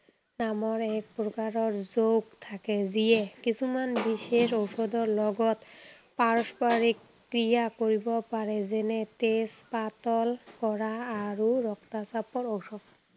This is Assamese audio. নামৰ এক প্ৰকাৰৰ যৌগ থাকে যিয়ে কিছুমান বিশেষ ঔষধৰ লগত, পাৰস্পৰিক ক্ৰিয়া কৰিব পাৰে। যেনে তেজ পাতল কৰা আৰু ৰক্তাচাপৰ ঔষধ।